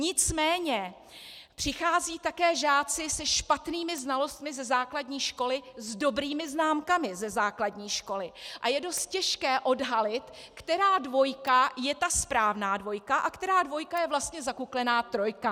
Nicméně přicházejí také žáci se špatnými znalostmi ze základní školy s dobrými známkami ze základní školy a je dost těžké odhalit, která dvojka je ta správná dvojka a která dvojka je vlastně zakuklená trojka.